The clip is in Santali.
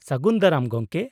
-ᱥᱟᱹᱜᱩᱱ ᱫᱟᱨᱟᱢ ᱜᱚᱢᱠᱮ ᱾